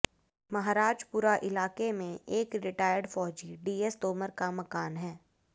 महाराजपुरा इलाके में एक रिटायर्ड फौजी डीएस तोमर का मकान है